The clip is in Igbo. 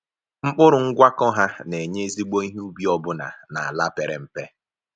Mkpụrụ ngwakọ ha na-enye ezigbo ihe ubi ọbụna n’ala pere mpe.